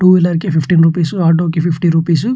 two wheeler కి fifty rupees auto కి fifty rupees --